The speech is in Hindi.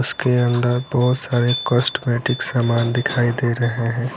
उसके अंदर बहोत सारे कॉस्टमेटिक सामान दिखाई दे रहे है।